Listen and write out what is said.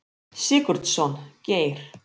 Sigurdsson, Geir.